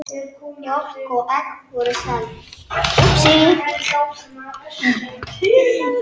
Mjólk og egg voru seld.